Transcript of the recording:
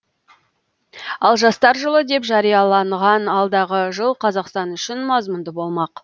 ал жастар жылы деп жарияланған алдағы жыл қазақстан үшін мазмұнды болмақ